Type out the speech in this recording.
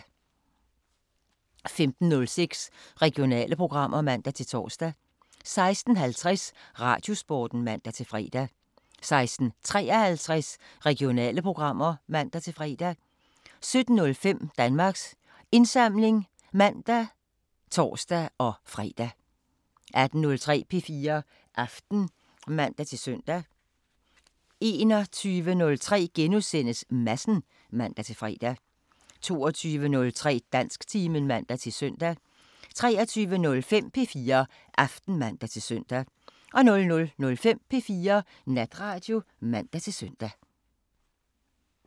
15:06: Regionale programmer (man-tor) 16:50: Radiosporten (man-fre) 16:53: Regionale programmer (man-fre) 17:05: Danmarks Indsamling (man og tor-fre) 18:03: P4 Aften (man-søn) 21:03: Madsen *(man-fre) 22:03: Dansktimen (man-søn) 23:05: P4 Aften (man-søn) 00:05: P4 Natradio (man-søn)